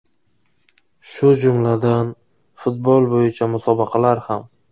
Shu jumladan, futbol bo‘yicha musobaqalar ham.